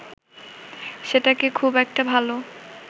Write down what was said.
সেটাকে খুব একটা ভালো